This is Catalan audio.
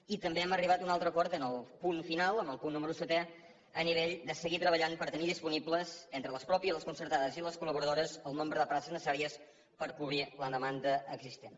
i també hem arribat a un altre acord en el punt final en el punt número setè a nivell de seguir treballant per tenir disponibles entre les pròpies i les concertades i les col·laboradores el nombre de places necessàries per cobrir la demanda existent